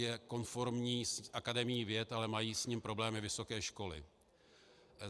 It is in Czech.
Je konformní s Akademií věd, ale mají s ním problémy vysoké školy.